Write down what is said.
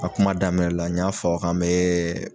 A kuma daminɛ la n y'a fɔ k'an mɛ